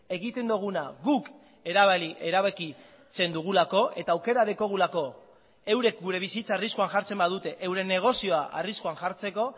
egiten duguna guk erabakitzen dugulako eta aukera daukagulako eurek gure bizitza arriskuan jartzen badute euren negozioa arriskuan jartzeko